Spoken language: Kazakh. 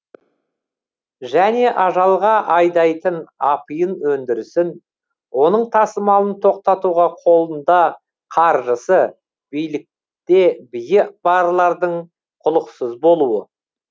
және ажалға айдайтын апиын өндірісін оның тасымалын тоқтатуға қолында қаржысы билікте биі барлардың құлықсыз болуы